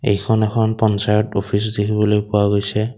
এইখন এখন পঞ্চায়ত অফিচ দেখিবলৈ পোৱা গৈছে।